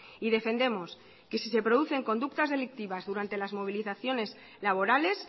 y defendemos que si se producen conductas delictivas durante las movilizaciones laborales